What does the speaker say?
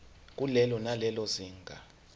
kulelo nalelo zinga